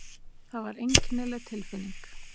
Það var einkennileg tilfinning.